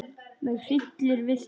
Mig hryllir við þessu.